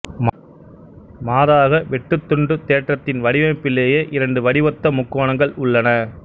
மாறாக வெட்டுத்துண்டுத் தேற்றத்தின் வடிவமைப்பிலேயே இரண்டு வடிவொத்த முக்கோணங்கள் உள்ளன